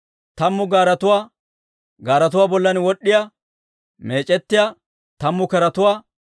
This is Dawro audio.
Tammu gaaretuwaa, gaaretuwaa bollan wod'd'iyaa, meec'ettiyaa tammu keretuwaa,